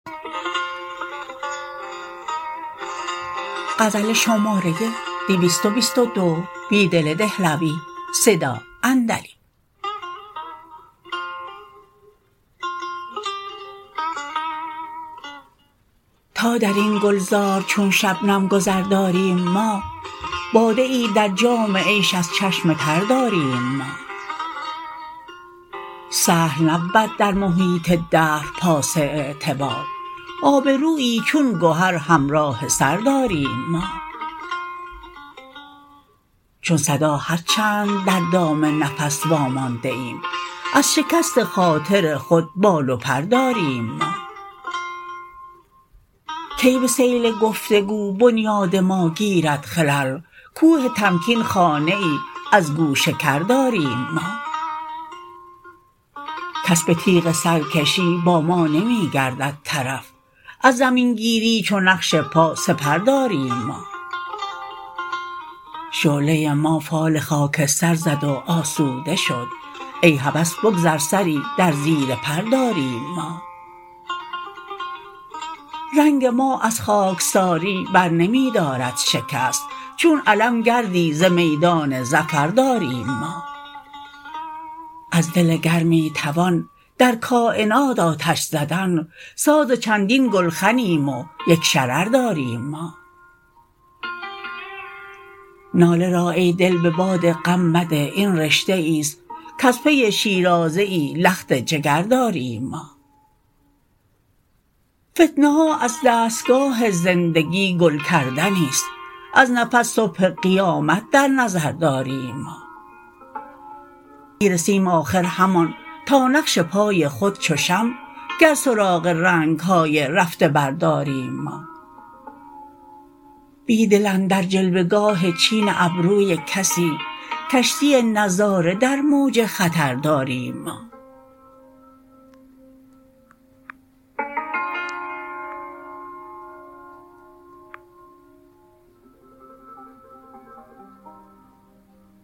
تا دربن گلزار چون شبنم گذر داریم ما باده ای در جام عیش از چشم تر داریم ما سهل نبود در محیط دهر پاس اعتبار آبرویی چون گهر همراه سر داریم ما چون صداهرچند در دام قس وامانده ایم از شکست خاطر خود بال وپر داریم ما کی به سیل گفتگو بنیاد ماگیرد خلل کوه تمکین خانه ای ازگوش کر داریم ما کس به تیغ سرکشی باما نمی گردد طرف اززمینگیری چو نقش پا سپر داریم ما شعله ما فال خاکستر زد و آسوده شد ای هوس بگذر سری درزیرپر داریم ما رنگ ما از خاکساری برنمی دارد شکست چون علم گردی ز میدان ظفر داریم ما از دل گرمی توان درکاینات آتش زدن ساز چندین گلخنیم ویک شرر داریم ما ناله را ای دل به بادغم مده این رشته ای ست کزپی شیرازه لخت جگر داریم ما فتنه ها از دستگاه زندگی گل کردنی ست از نفس صبح قیامت در نظر داریم ما می رسیم آخر همان تا نقش پای خود چوشمع گر سراغ رنگهای رفته برداریم ما بیدل اندر جلوه گاه چین ابروی کسی کشتی نظاره در موج خطر داریم ما